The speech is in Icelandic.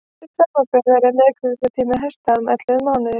til samanburðar er meðgöngutími hesta um ellefu mánuðir